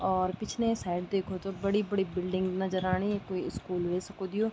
और पिछने साइड देखो तो बड़ी-बड़ी बिल्डिंग नजर आणि कुई स्कूल वे सकद यो।